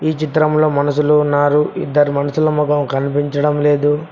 ఈ చిత్రంలో మనషులు ఉన్నారు ఇద్దరు మనుషులు మొఖం కనిపించడం లేదు.